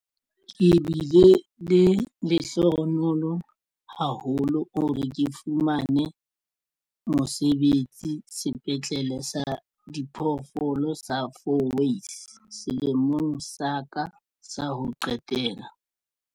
Ke bile lehlohonolo haholo hore ke fumane mosebetsi Sepetlele sa Diphoofolo sa Fourways selemong sa ka sa ho qetela.